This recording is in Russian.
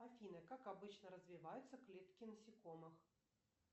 афина как обычно развиваются клетки насекомых